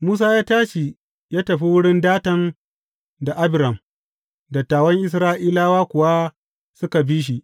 Musa ya tashi ya tafi wurin Datan da Abiram, dattawan Isra’ilawa kuwa suka bi shi.